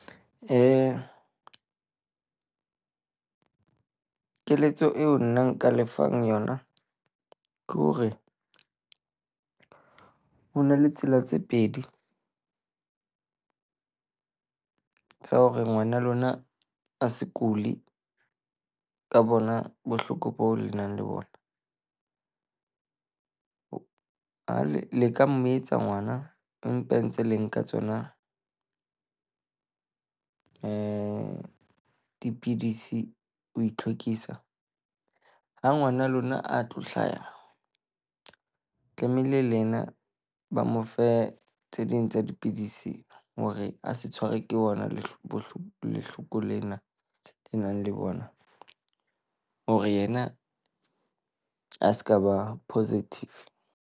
Keletso eo nna nka lefang yona ke hore, ho na le tsela tse pedi tsa hore ngwana a lona a se kule ka bona bohloko boo le nang le bona. A leka mo etsa ngwana empa e ntse le nka tsona eh dipidisi, ho itlhwekisa. Ha ngwana lona a tlo hlaha tlamehile le yena ba mo fe tse ding tsa dipidisi hore a se tshwarwe ke bona le bohlokohloko lena e nang le bona hore yena a seka ba positive.